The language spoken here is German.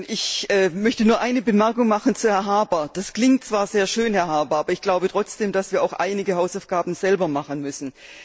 Ich möchte nur eine Bemerkung zu Herrn Harbour machen. Das klingt zwar sehr schön, Herr Harbour, aber ich glaube trotzdem, dass wir auch einige Hausaufgaben selber machen müssen.